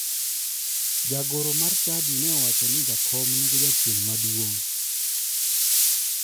Jagoro mar chadi ne owacho ni jakom nigi jachien madung'